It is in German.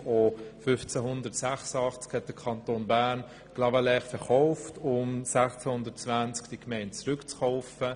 1586 hat der Kanton Bern Clavaleyres verkauft und die Gemeinde 1620 wieder zurückgekauft.